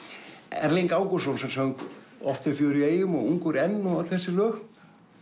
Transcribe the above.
Erling Ágústsson sem söng oft er fjör í eyjum og ungur enn og öll þessi lög